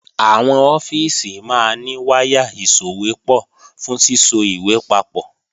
Àwọn ọ́fíìsì máa ní wáyà ìsòwépọ̀ fún síso ìwé papọ̀